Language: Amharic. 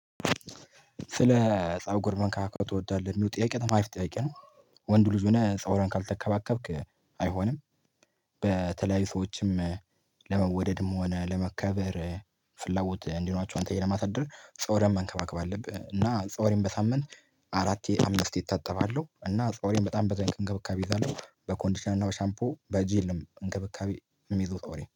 ስለ ፀጉር መከባከብ ትወዳለህ የሚሉት ጥያቄ በጣም አሪፍ ጥያቄ ነው? ወንዱ ልጅ ሆነህ ፀጉርህን ካልተከባከብክ አይሆንም። በተለያዩ ሰዎችም ለመወደድም ሆነ ለመከበር ፍላጎት እንዲኖራቸው አንተ ለማሳደር ፀጉርህን መንከባከብ አለብህ። እና ፀጉሬን በሳምንት አራቴ አምስት እታጠባሉሁ እና ጠጉሬን በጣም በጣም እንክብካቤ ይይዛለሁ። በኮንዲሽናል እና በሻምፖ በጂልም እንክብካቤ እምይዘው